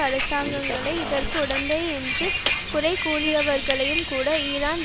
அரசாங்கங்களை இதற்கு உடந்தை என்று குறை கூறியவையும்கூட ஈரான்